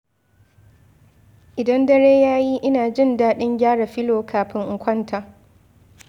Idan dare ya yi, ina jin daɗin gyara filo kafin in kwanta.